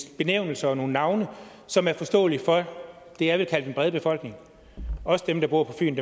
benævnelser og nogle navne som er forståelige for det jeg vil kalde den brede befolkning også dem der bor på fyn